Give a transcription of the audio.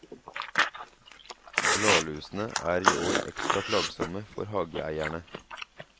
Bladlusene er i år ekstra plagsomme for hageeierne.